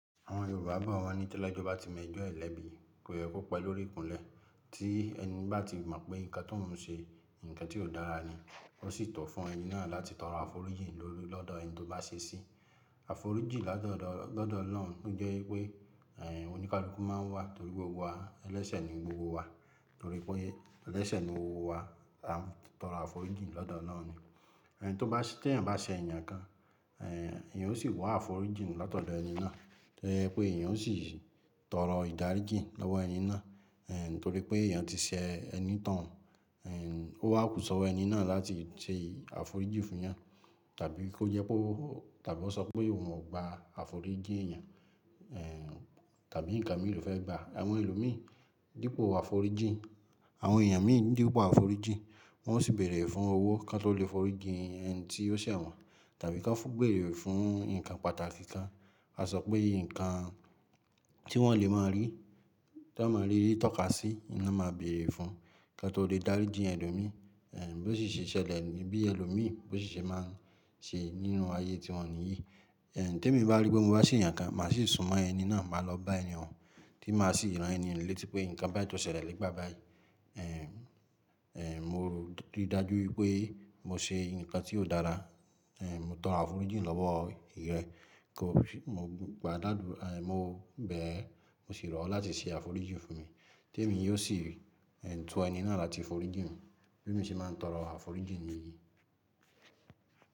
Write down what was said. Àwọn Yorùbá bo wọ́n ní tẹlẹ́jọ́ ba tí m'ẹjọ́ ẹ lẹ́bi, kó yẹ kó pé lórí ìkúnlẹ̀. Tí ẹni bá ti mọ̀ pé nǹkan t'óun ṣe, nǹkan tí kò dára ni, ó sì tọ́ fún ẹni náà láti tọrọ àforíjì lọ́dọ̀ ẹni tó bá ṣe sí. Àforíjì latodọ̀ lọ́dọ̀ Ọlọ́run o jẹ́ pé, ẹ̀ oníkáluku ma ń wà torí pé gbogbo wa, ẹlẹ́sẹ̀ ni gbogbo wa. Torí pé ẹlẹ́sẹ̀ ni owó wa, a ń tọrọ àforíjì lọ́dọ̀ Ọlọ́run ni. Ẹni tó bá ṣe tẹeyan bá ṣe èèyàn kan, ẹ̀ èèyàn ó sì wá àforíjì latọ́dọ̀ ẹni náà. To je pé èèyàn ó sì tọrọ ìdáríjì lọ́wọ́ ẹni náà. Ẹ̀ nítorí pé èèyàn ti ṣe onitoun. Ẹ̀ ó wà kú sọwo ẹni náà láti ṣe àforíjì fúnyan, tàbí kó jẹ pe ó tàbí ó sọ pé òun ò gba àforíjì ẹ̀yàn, ẹ̀ tàbí nǹkan mìí ló fẹ́ gba. Àwọn ẹlòmíi dípò àforíjì, àwọn èèyàn mìí ni dípò àforíjì, wọ́n ó sì bèrè fún owó kí wọ́n tó lè foríjì ẹni tí ó ṣe wọ́n, tàbí kí wọ́n tún bèrè fún nǹkan pàtàkì kan. Ka sọ pé nǹkan tí wọ́n lè máa rí, tí wọ́n máa rí tọ́ka sí, ni won máa bèrè fún kí won tó lè dáríjì elomíi. Ẹ̀ bí ó ṣi se ṣẹlẹ̀ ní bí ẹlòmíi, bí ó ṣe máa ń ṣe nínú ayé tíwọ́n ní yìí. Ẹ̀ tí èmi bá rí pé mo bá ṣe ẹ̀yàn kan, màá sì súnmọ́ ẹni náà, màá lọ bá ẹni ohun, tí màá sì rán ẹni ohun létí pé nǹkan báyìí tó ṣẹlẹ̀ lé gbà báyìí. Ẹ̀ è mo rí dájú wipé mo ṣe nǹkan tí kò dára, ẹ̀ mo tọrọ àforíjì lọ́wọ́ ìrẹ kò fi mo gba làdú, ẹ̀ mo bẹ̀ e, mo sì rọ̀ ọ́ láti ṣe àforíjì fún mi. Tí èmi yóò sì ẹ̀ tú ẹni náà láti forí jì mi. Bí èmi ṣe máa ń tọrọ àforíjì mi ní.